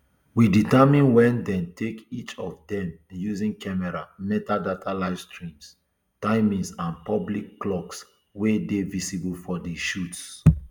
we determine wen dem take each of dem using camera metadata livestream timings and public clocks wey dey visible for di shots